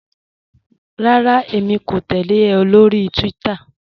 Rárá, èmi kò tẹ̀lẹ̀ ọ lórí Twitter.